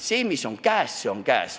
See, mis on käes, see on käes.